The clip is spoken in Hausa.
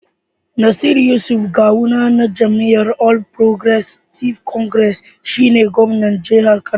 Nasir Yusuf Gawuna na jam'iyyar All Progressives Congress (APC) shi ne gwamnan jihar Kano.